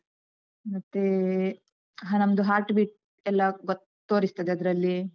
ಮತ್ತೆ ಹ ನಮ್ದು heart beat ಎಲ್ಲ ಗೊತ್ತ್ ತೋರಿಸ್ತದೆ ಅದ್ರಲ್ಲಿ.